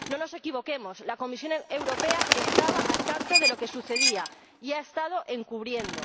No nos equivoquemos la Comisión Europea estaba al tanto de lo que sucedía y lo ha estado encubriendo.